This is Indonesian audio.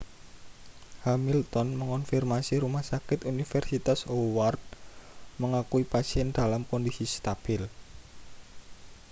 hamilton mengonfirmasi rumah sakit universitas howard mengakui pasien dalam kondisi stabil